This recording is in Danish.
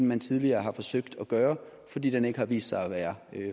man tidligere har forsøgt at gøre fordi den ikke har vist sig at være